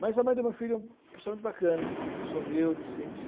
Mas a mãe do meu filho é uma pessoa muito bacana, uma pessoa humilde, simples.